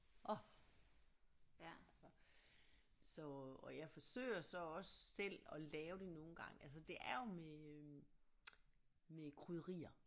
Orh altså så og jeg forsøger så også selv at lave det nogle gange altså det er jo med øh med krydderier